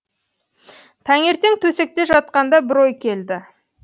таңертең төсекте жатқанда бір ой келді